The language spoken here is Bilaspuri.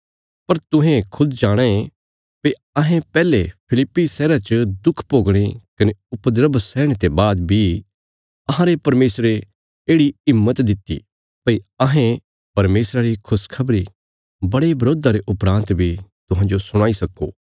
पर तुहें खुद जाणाँ ये भई अहें पैहले फिलिप्पी शहरा च दुख भोगणे कने उपद्रव सैहणे ते बाद बी अहांरे परमेशरे येढ़ि हिम्मत दित्ति भई अहें परमेशरा री खुशखबरी बड़े बरोधा रे उपरान्त बी तुहांजो सुणाई सक्को